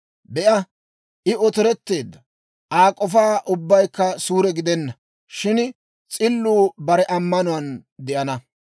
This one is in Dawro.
«Be'a, I otoretteedda; Aa k'ofa ubbaykka suure gidenna; shin s'illuu bare ammanuwaan de'ana.»